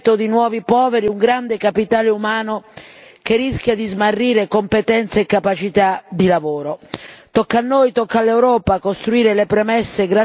Dodici milioni di lavoratori senza lavoro, un esercito di nuovi poveri, un grande capitale umano che rischia di smarrire competenze e capacità di lavoro.